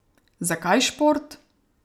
Zakaj šport?